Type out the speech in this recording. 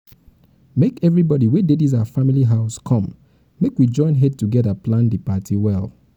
make everybody wey dey dis our family house come make we join head togeda plan the party well um